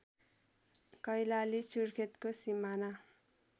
कैलाली सुर्खेतको सिमाना